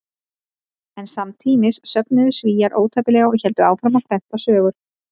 En samtímis söfnuðu Svíar ótæpilega og héldu áfram að prenta sögur.